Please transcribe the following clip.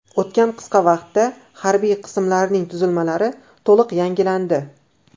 O‘tgan qisqa vaqtda harbiy qismlarning tuzilmalari to‘liq yangilandi.